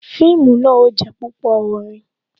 Fíìmù náà ó jé púpò orin